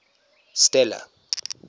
stella